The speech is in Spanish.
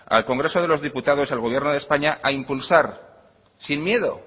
al congreso de los diputados al gobierno de españa a impulsar sin miedo